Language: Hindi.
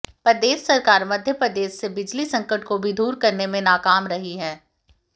प्रदेश सरकार मधयप्रदेश से बिजली संकट को भी दूर करने में नाकाम रही है